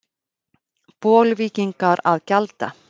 Bolvíkingar að gjalda?